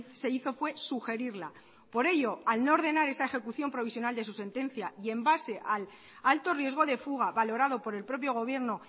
se hizo fue sugerirla por ello al no ordenar esa ejecución provisional de su sentencia y en base al alto riesgo de fuga valorado por el propio gobierno